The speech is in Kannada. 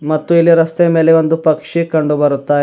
ಮತ್ತು ಇಲ್ಲಿ ರಸ್ತೆ ಮೇಲೆ ಒಂದು ಪಕ್ಷಿ ಕಂಡುಬರುತ್ತಾ ಇ --